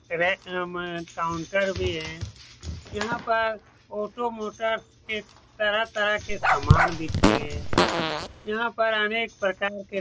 counter भी है यहाँ पर ऑटो मोटर्स के तरह-तरह के सामान बिकते हैं यहाँ पर अनेक प्रकार के --